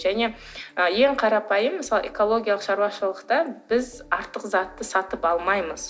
және ең қарапайым мысалы экологиялық шаруашылықта біз артық затты сатып алмаймыз